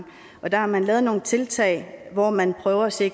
der har man lavet nogle tiltag hvor man prøver at se